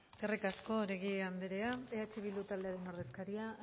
eskerrik asko oregi anderea eh bildu taldearen ordezkaria